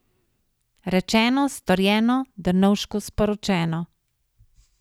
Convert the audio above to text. Rečeno, storjeno, Drnovšku sporočeno.